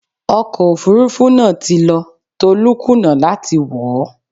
Ọkọ̀ Òfurufú náà ti lọ, Tolú kùnà láti wọ̀ ó.